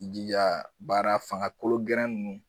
I jija baara fangakolo gɛrɛn ninnu.